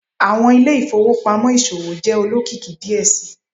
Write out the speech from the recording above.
Awọn ile-ifowopamọ iṣowo jẹ olokiki diẹ sii